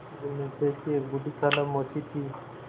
जुम्मन शेख की एक बूढ़ी खाला मौसी थी